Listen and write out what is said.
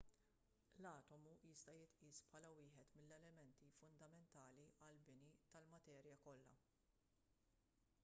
l-atomu jista' jitqies bħala wieħed mill-elementi fundamentali għall-bini tal-materja kollha